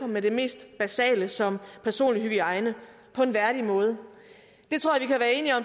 med det mest basale som personlig hygiejne på en værdig måde